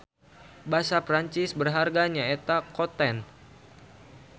Basa Perancis berharga nya eta coutant.